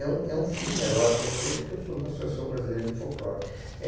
É um é um fio melódico, eu sei porque eu sou da Associação Brasileira de Folclore. É